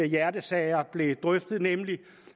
hjertesager blev drøftet nemlig